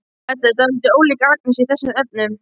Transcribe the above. Edda er dálítið ólík Agnesi í þessum efnum.